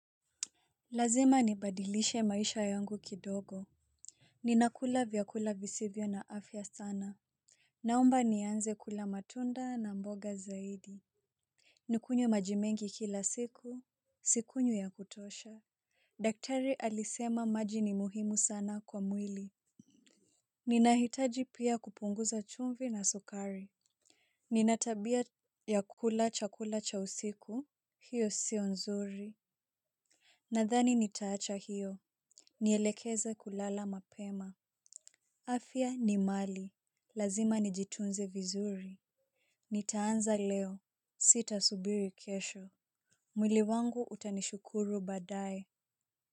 Lazima nibadilishe maisha yangu kidogo. Ninakula vyakula visivyo na afya sana. Naomba nianze kula matunda na mboga zaidi. Nikunywe maji mengi kila siku. Sikunywi ya kutosha. Daktari alisema maji ni muhimu sana kwa mwili. Ninahitaji pia kupunguza chumvi na sukari. Ninatabia ya kukula chakula cha usiku. Hiyo sio nzuri. Nadhani nitaacha hiyo. Nielekeze kulala mapema. Afya ni mali. Lazima nijitunze vizuri. Nitaanza leo. Sita subiri kesho. Mwili wangu utanishukuru badae.